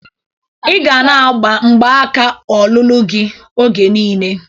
I ga na-agba mgbaka ọlụlụ gi oge niile!